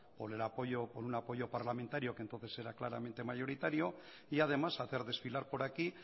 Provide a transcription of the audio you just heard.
por un apoyo parlamentario que entonces era claramente mayoritario y además hacer desfilar por aquí